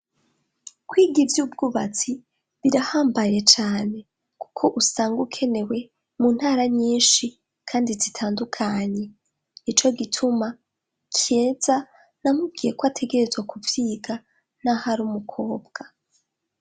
kwiga ivy'ubwubatsi birahambaye cyane kuko usanga ukenewe mu ntara nyinshi kandi zitandukanye ico gituma kyeza namubwiye ko ategerezwa kuvyiga n'ahari umukobwa